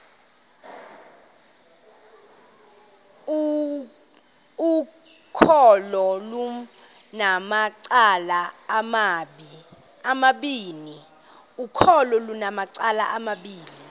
ukholo lunamacala amabini